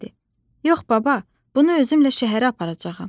"Yox, baba, bunu özümlə şəhərə aparacağam.